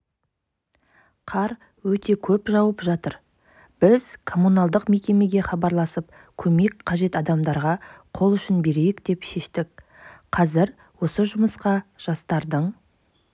қар өте көп жауып жатыр біз коммуналдық мекемеге хабарласып көмек қажет адамдарға қол ұшын берейік деп шештік қазір осы жұмысқа жастардың